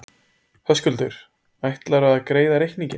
Höskuldur: Ætlarðu að greiða reikninginn?